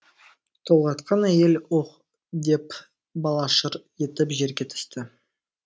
толғатқан әйел үһ деп бала шыр етіп жерге түсті